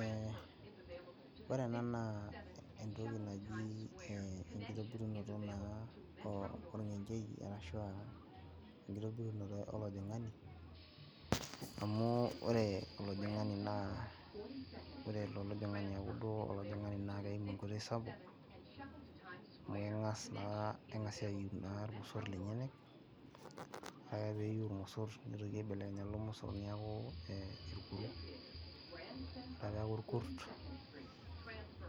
Ee ore ena naa entoki naji enkitobinoto olngencheri, ashu enkitobirunoto olajingani, amu ore olajingani naa ore eloito olajingani naa kelimu enkoitoi, sapuk amu keng'as naa kenga aimu ilngoso, lenyeenyek. Ore pee iu ilmosor nitoki aibelekenya lelo mosor, niaku ilkuru, ore peeku ilkurt,